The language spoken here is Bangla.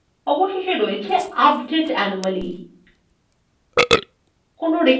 এবং সবশেষে রয়েছে আপডেট anomaly